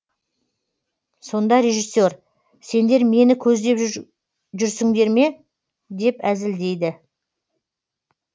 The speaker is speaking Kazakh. сонда режиссер сендер мені көздеп жүрсіңдер ме деп әзілдейді